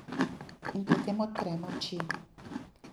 In potem odprem oči.